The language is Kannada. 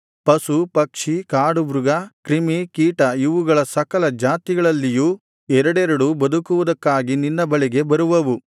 ಪಶು ಪಕ್ಷಿ ಕಾಡುಮೃಗ ಕ್ರಿಮಿ ಕೀಟ ಇವುಗಳ ಸಕಲ ಜಾತಿಗಳಲ್ಲಿಯೂ ಎರಡೆರಡು ಬದುಕುವುದಕ್ಕಾಗಿ ನಿನ್ನ ಬಳಿಗೆ ಬರುವವು